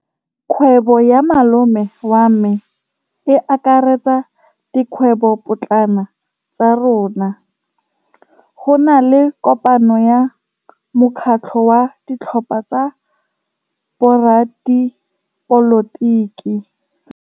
Kgwêbô ya malome wa me e akaretsa dikgwêbôpotlana tsa rona. Go na le kopanô ya mokgatlhô wa ditlhopha tsa boradipolotiki.